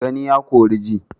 Gani ya kori ji